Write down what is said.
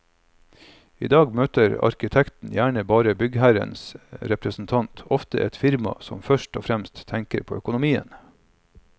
I dag møter arkitekten gjerne bare byggherrens representant, ofte et firma som først og fremst tenker på økonomien.